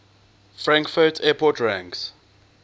frankfurt airport ranks